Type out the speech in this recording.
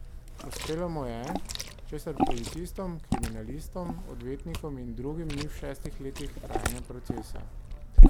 Uspelo mu je, česar policistom, kriminalistom, odvetnikom in drugim ni v šestih letih trajanja procesa.